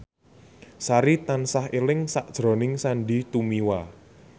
Sari tansah eling sakjroning Sandy Tumiwa